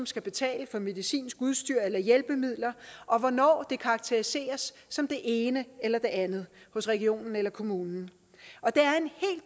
skal betale for medicinsk udstyr eller hjælpemidler og hvornår det karakteriseres som det ene eller det andet hos regionen eller kommunen